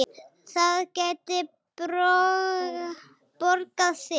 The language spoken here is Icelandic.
Það gæti borgað sig.